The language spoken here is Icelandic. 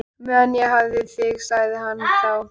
Meðan ég hef þig sagði hann þá.